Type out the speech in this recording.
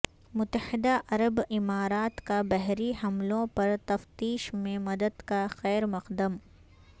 متحدہ عرب امارات کا بحری حملوں پر تفتیش میں مدد کا خیر مقدم